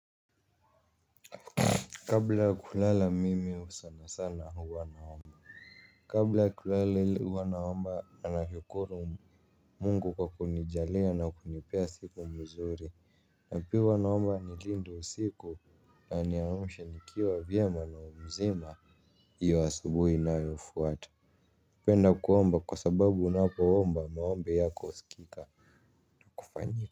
Kabla kulala mimi sana sana huwa naomba. Kabla kulala huwa naomba na nashukuru Mungu kwa kunijalia na kunipea siku mzuri. Na pia huwa naomba anilinde usiku na aniamshe nikiwa vyema na mzima hiyo asubuhi inayo fuata. Napenda kuomba kwa sababu unapo omba maombi yako husikika kufanyika.